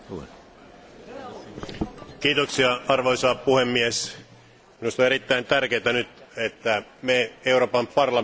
Arvoisa puhemies, minusta on erittäin tärkeätä nyt, että me Euroopan parlamentissa kiinnitämme huomiota budjettikuriin.